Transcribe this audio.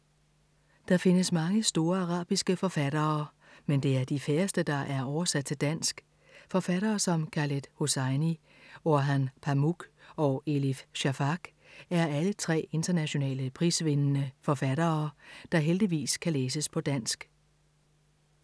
Der findes mange store arabiske forfattere, men det er de færreste, der er oversat til dansk. Forfattere som Khaled Hosseini, Orhan Pamuk og Elif Shafak er alle tre internationale prisvindende forfattere, der heldigvis kan læses på dansk.